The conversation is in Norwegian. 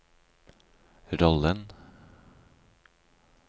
rollen